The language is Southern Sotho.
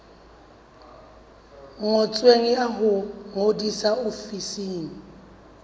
ngotsweng ya ho ngodisa ofising